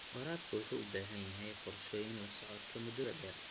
Waraabka wuxuu u baahan yahay qorshooyin la socodka muddada dheer.